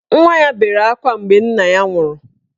Nwanna ya bere akwa mgbe nna ya nwụrụ.